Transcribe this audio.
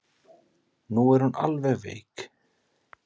Nú er hún alveg veik.